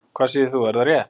Hvað segir þú, er það rétt?